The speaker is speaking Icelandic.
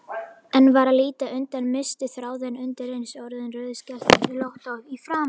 En varð að líta undan, missti þráðinn, undireins orðin rauðskellótt í framan.